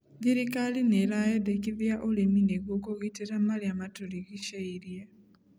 Thirikari nĩeraendekithia ũrĩmi nĩguo kũgitera marĩa matũrigicĩirie.